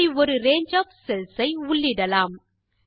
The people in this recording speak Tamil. இப்படி ஒரு ரங்கே ஒஃப் செல்ஸ் ஐ உள்ளிடலாம்